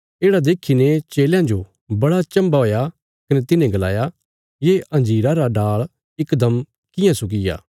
येढ़ा देखीने चेलयां जो बड़ा चम्भा हुया कने तिन्हें गलाया ये अंजीरा रा डाल़ इकदम कियां सुक्कीग्या